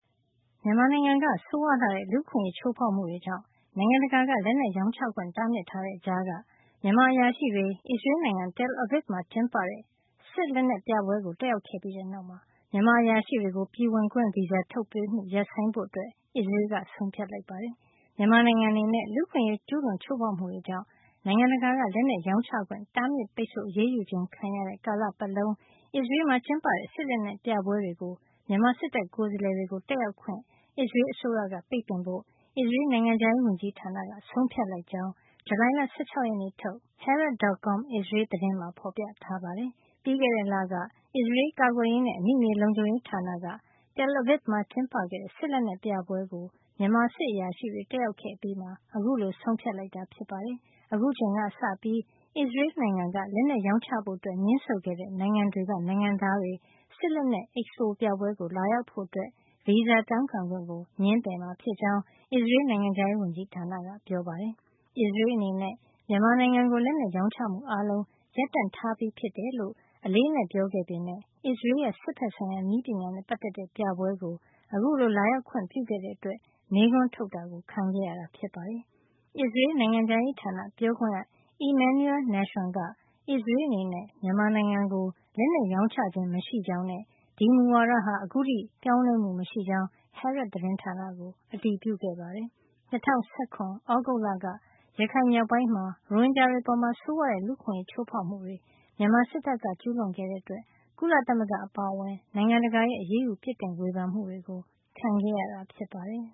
မြန်မာနိုင်ငံက ဆိုးဝါးလှတဲ့ လူ့အခွင့်ရေး ချိုးဖေါက်မှုတွေကြောင့် နိုင်ငံတကာက လက်နက်ရောင်းချခွင့် တားမြစ်ထားတဲ့ကြားက မြန်မာအရာရှိတွေ အစ္စရေးနိုင်ငံ Tel Aviv မှာ ကျင်းပခဲ့တဲ့ လက်နက်ပြပွဲကို တက်ရောက်ခဲ့ပြီးတဲ့နောက်မှာ မြန်မာအရာရှိတွေကို ပြည်ဝင်ခွင့် ဗီဇာ ထုတ်ပေးမှု ရပ်ဆိုင်းဖို့ အစ္စရေးက ဆုံးဖြတ်လိုက်ပါတယ်။ မြန်မာနိုင်ငံအနေနဲ့ လူ့အခွင့်ရေး ကျူးလွန်ချိုးဖောက်မှုတွေကြောင့် နိုင်ငံတကာက လက်နက်ရောင်းချခွင့် တားမြစ်ပိတ်ဆို့ အရေးယူခြင်း ခံရတဲ့ ကာလပတ်လုံး အစ္စရေးမှာ ကျင်းပတဲ့ စစ်လက်နက်ပြပွဲတွေကို မြန်မာစစ်တပ် ကိုယ်စားလှယ်တွေကို တက်ရောက်ခွင့် အစ္စရေး အစိုးရက ပိတ်ပင်ဖို့ အစ္စရေးနိုင်ငံခြားရေး ဝန်ကြီးဌာနက ဆုံးဖြတ်လိုက်ကြောင်း ဇူလိုင်လ ၁၆ ရက်နေ့ထုတ် Haaret.com အစ္စရေးသတင်းမှာ ဖေါ်ပြထားပါတယ်။ ပြီးခဲ့တဲ့ လက အစ္စရေး ကာကွယ်ရေးနဲ့ အမိမြေလုံခြုံရေးဌာနက Tel Aviv မှာ ကျင်းပခဲ့တဲ့ စစ်လက်နက်ပြပွဲကို မြန်မာစစ်အရာရှိတွေ တက်ရောက် ခဲ့အပြီး အခုလို ဆုံးဖြတ် လိုက်တာ ဖြစ်ပါတယ်။ အခုအချိန်က စပြီး အစ္စရေးနိုင်ငံက လက်နက် ရောင်းချဖို့ ငြင်းဆိုခဲ့တဲ့ နိုင်ငံ တွေက နိုင်ငံသားတွေ စစ်လက်နက် expo ပြပွဲကို လာရောက်ဖို့ ဗီဇာ တောင်းခံခွင့်ကို ငြင်းပယ်မှာ ဖြစ်ကြောင်း အစ္စရေး နိုင်ငံခြားရေး ဝန်ကြီးဌာနက ပြောပါတယ်။ အစ္စရေး အနေနဲ့ မြန်မာနိုင်ငံကို လက်နက် ရောင်းချမှု အားလုံး ရပ်တန့်ထားပြီး ဖြစ်တယ်လို့ အလေးအနက် ပြောခဲ့ပေမယ့် အစ္စရေးရဲ့ စစ်ဘက်ဆိုင်ရာ နည်းပညာနဲ့ ပတ်သက်တဲ့ ပြပွဲကို အခုလို လာရောက်ခွင့် ပြုခဲ့တဲ့အတွက် မေးခွန်းထုတ်ခြင်း ခံခဲ့ရတာ ဖြစ်ပါတယ်။ အစ္စရေး နိုင်ငံခြားရေးဌာန ပြောခွင့်ရ Emmanuel Nahshon က အစ္စရေး အနေနဲ့ မြန်မာနိုင်ငံကို လက်နက်ရောင်းချခြင်း မရှိကြောင်းနဲ့ ဒီမူဝါဒဟာ အခုထိ ပြောင်းလဲမှု မရှိကြောင်း Haaret သတင်းဌာနကို အတည်ပြုခဲ့ပါတယ်။ ၂၀၁၇ သြဂုတ်လက ရခိုင်မြောက်ပိုင်းမှာ ရိုဟင်ဂျာတွေ အပေါ် ဆိုးဝါးတဲ့ လူ့အခွင့်ရေး ချိုးဖေါက်မှုတွေ မြန်မာစစ်တပ်က ကျူးလွန်ခဲ့တဲ့အတွက် ကုလသမဂ္ဂအပါအဝင် နိုင်ငံတကာရဲ့ အရေးယူ ပြစ်တင်ဝေဖန်မှုတွေ ခံခဲ့ရတာဖြစ်ပါတယ်